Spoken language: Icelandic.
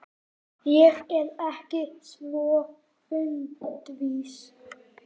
Ég er ekki svo fundvís